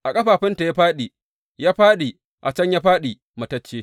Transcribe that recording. A ƙafafunta ya fāɗi, ya fāɗi; a can ya fāɗi, matacce.